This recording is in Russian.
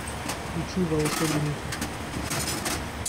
включи волшебники